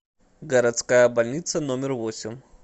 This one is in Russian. городская больница номер восемь